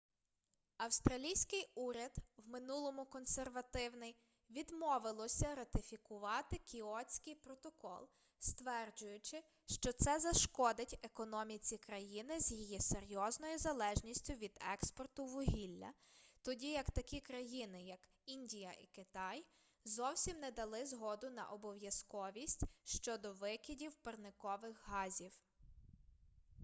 австралійський уряд в минулому консервативний відмовилося ратифікувати кіотський протокол стверджуючи що це зашкодить економіці країни з її серйозною залежністю від експорту вугілля тоді як такі країни як індія і китай зовсім не дали згоду на обов'язковість щодо викидів парникових газів